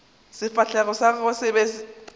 sefahlego sa gagwe se be